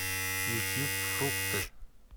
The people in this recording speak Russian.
ютьюб фрукты